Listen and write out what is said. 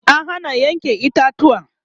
an Hana Yanke itatuwa